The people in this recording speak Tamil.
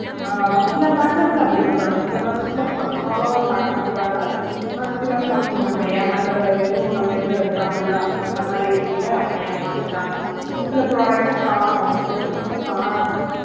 அஹ் சில packers ல அப்படி பண்றாங்க சில packers ல பக்காவா pack பண்றாங்க சில சமயம் நம்மள ஏமாத்துற இதுவும் நம்ம இதுல இருக்காங்க இல்ல அந்த மாதிரி இதுல இவங்க ஏமாந்துட்டாங்க சில product ல காணோம் சில things காணோம்